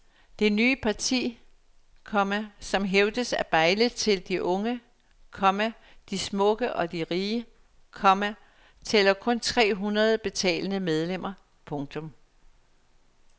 Det nye parti, komma som hævdes at bejle til de unge, komma de smukke og de rige, komma tæller kun tre hundrede betalende medlemmer. punktum